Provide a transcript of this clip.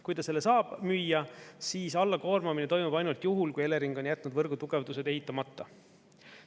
Kui ta selle saab müüa, siis alla koormamine toimub ainult juhul, kui Elering on jätnud võrgu tugevdused eitamata.